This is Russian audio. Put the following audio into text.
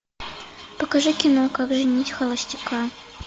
покажи кино как женить холостяка